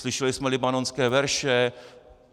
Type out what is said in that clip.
Slyšeli jsme libanonské verše.